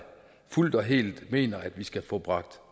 fuldt og helt mener at vi skal få bragt